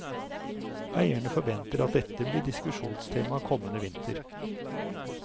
Eierne forventer at dette blir diskusjonstema kommende vinter.